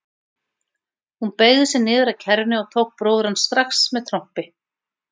Hún beygði sig niður að kerrunni og tók bróður hans strax með trompi.